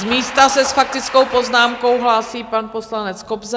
Z místa se s faktickou poznámkou hlásí pan poslanec Kobza.